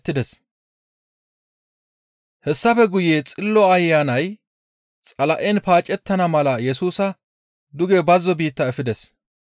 Hessafe guye Xillo Ayanay Xala7en paacettana mala Yesusa duge bazzo biitta efides.